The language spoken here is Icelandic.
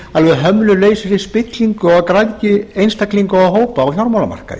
lausri alveg hömlulausi spillingu og græðgi einstaklinga og hópa á fjármálamarkaði